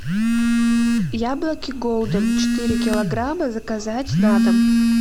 яблоки голден четыре килограмма заказать на дом